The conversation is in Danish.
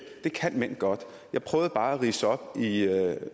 det kan mænd godt jeg prøvede bare at ridse op i